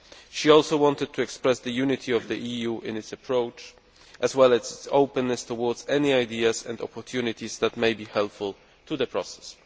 She also wanted to express the unity of the EU in its approach, as well as its openness towards any ideas and opportunities that may be helpful to the process.